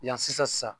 Yan sisan